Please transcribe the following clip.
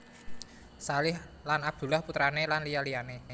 Shalih Lan Abdullah putrane lan liya liyane